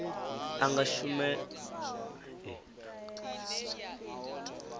anga kushumele kwa u lafha